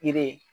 Yiri